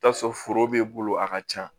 T'a sɔrɔ foro b'i bolo a ka ca